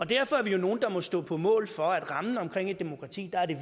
derfor er vi jo nogle der må stå på mål for at rammen omkring et demokrati er